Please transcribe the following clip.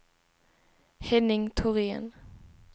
Henning Thorén